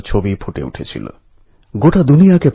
সবাই দলবদ্ধ ভাবে এই মিশনে সামিল হয়েছে